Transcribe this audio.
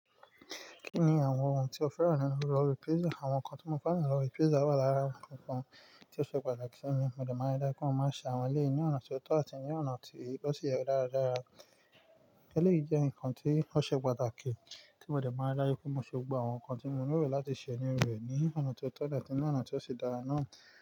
Kí ni àwọn ohun tí o fẹ́ràn nínú ọrí pizza? Àwọn nǹkan tí mo fẹ́ràn nínú ìrọrí pizza wà lára àwọn nnkan tí ó ṣe pàtàkì sí mi. Mo dẹ̀ máa dá kún un máa ṣe àwọn ilé ní ọ̀nà tí ó tọ́ àti ní ọ̀nà tí ó sì yẹ dáradára. Eléyìí jẹ́ nǹkan tí ó ṣe pàtàkì tí mo dẹ̀ máa n ri daju pé mo ṣe gbogbo àwọn nǹkan tí mo nílo láti ṣe níru e ní ọ̀nà tí ó tọ́ àti ní ọ̀nà tí ó ṣe dára náà.